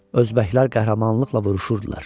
Özbəklər qəhrəmanlıqla vuruşurdular.